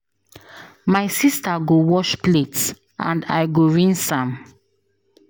My sister go wash plate and I go rinse am.